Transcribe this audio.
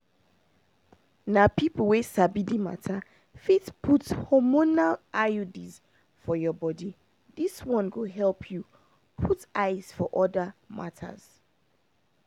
na people wey sabi the matter fit put hormonal iuds for your body this one go help you put eyes for other matters.